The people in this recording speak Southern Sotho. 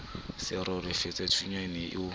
sa roleleyathunya o ne o